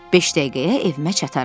Beş dəqiqəyə evimə çataram.